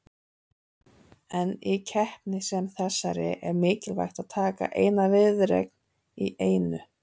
En í keppni sem þessari er mikilvægt að taka eina viðureign í einu.